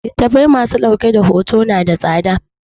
Littattafai ma su dauke da hoto na da tsada